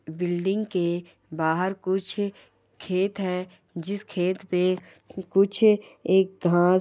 building के बाहर कुछ खेत है जिस खेत पे कुछ एक घांस--